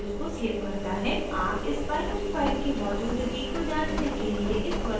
आप इस binary file की मौजूदगी को जांचने के लिए इस वर्तमान कार्यकारी डिरेक्टरी को ब्राउज़ कर सकते हैं